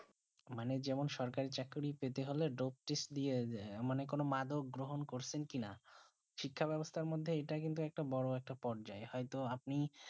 মানে যেমন কোনো সরকারি চাকরি পেলে ডোব টেস্ট দিয়া যায় মানে কোনো মাদক গ্রহন করছেন কি না শিক্ষা বেবস্তা মদদে এটা একটা বোরো পরাজয় হয়ে তো আপনি